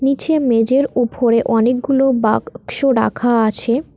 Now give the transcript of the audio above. নীচে মেঝের উফরে অনেকগুলো বাক শো রাখা আছে।